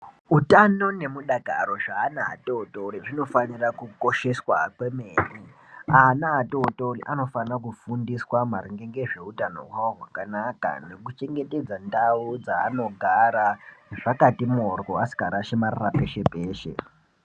Utano nemudakaro zveana atori tori zvinofanira kukosheswa kwemene. Ana atotori anofanira kufundiswa maringe ngezveutano hwawo hwakanaka nekuchengetedza ndau dzaanogara zvakati mhoryo, asikarashi marara peshe peshe.